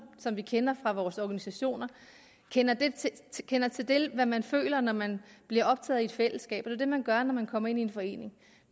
som vi kender fra vores organisationer kender til kender til hvad man føler når man bliver optaget i et fællesskab og det det man gør når man kommer ind i en forening